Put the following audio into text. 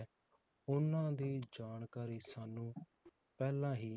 ਉਹਨਾਂ ਦੀ ਜਾਣਕਾਰੀ ਸਾਨੂੰ ਪਹਿਲਾਂ ਹੀ